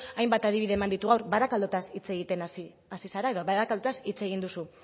hainbat adibide eman ditu gaur barakaldoz hitz egiten hasi zara edo barakaldoz hitz egin duzu